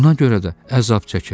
Buna görə də əzab çəkirəm.